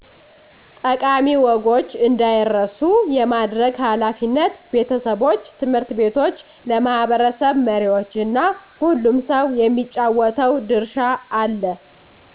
ጠቃሚ ወጎች እንዳይረሱ የማድረግ ኃላፊነት ቤተሰቦች፣ ት/ ቤቶች፣ ለማህበረሰብ መሪዎች እና ሁሉም ሰው የሚጫወተው ድርሻ አለ።